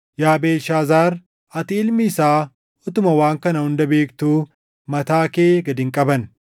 “Yaa Beelshaazaar, ati ilmi isaa utuma waan kana hunda beektuu mataa kee gad hin qabanne.